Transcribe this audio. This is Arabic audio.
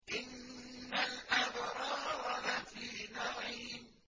إِنَّ الْأَبْرَارَ لَفِي نَعِيمٍ